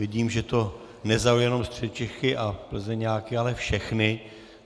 Vidím, že to nezaujalo jenom Středočechy a Plzeňáky, ale všechny.